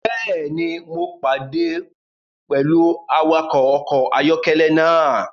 Bẹẹni, Mo pade pẹlu awakọ ọkọ ayọkẹlẹ naa